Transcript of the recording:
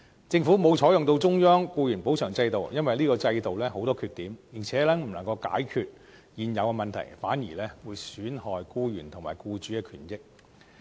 政府沒有採用中央僱員補償制度，因為這個制度有很多缺點，而且不能夠解決現有問題，反而會損害僱員和僱主的權益。